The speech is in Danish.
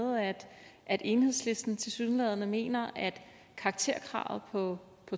at enhedslisten tilsyneladende mener at karakterkravet på